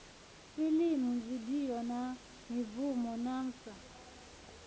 filimu vidio na mibvumo nafvsa